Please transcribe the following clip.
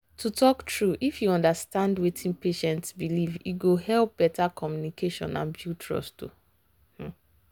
to talk true if you understand wetin patient believe e go help better communication and build trust. um